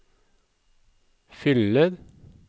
fyller